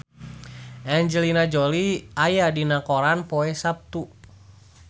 Angelina Jolie aya dina koran poe Saptu